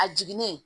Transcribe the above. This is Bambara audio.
A jiginnen